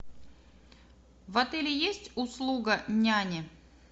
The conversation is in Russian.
в отеле есть услуга няни